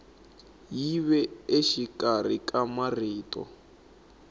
yi ve exikarhi ka marito